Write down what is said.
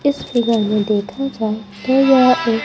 इस फिगर में देखा जाए तो यह एक--